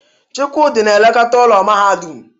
Chukwudi na-elekọta ụlọ mahadum.